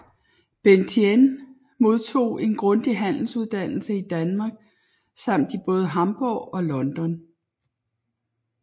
Benthien modtog en grundig handelsuddannelse i Danmark samt i både Hamborg og London